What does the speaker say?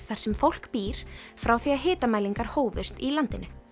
þar sem fólk býr frá því að hitamælingar hófust í landinu